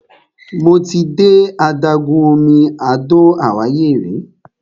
Mo ti de adágún omi Àdó Àwáyé rí.